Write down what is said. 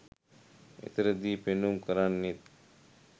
එතනදී පෙන්නුම් කරන්නෙත්